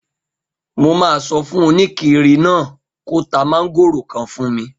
Mo máa sọ fún oníkiri náà kó ta mọ́ngòrò kan fún mi